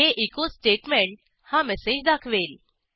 हे एचो स्टेटमेंट हा मेसेज दाखवेल